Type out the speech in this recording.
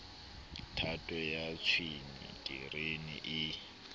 thato ya tshwene terene e